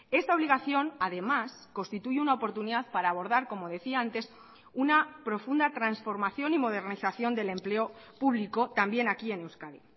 esta obligación además constituye una oportunidad para abordar como decía antes una profunda transformación y modernización del empleo publico también aquí en euskadi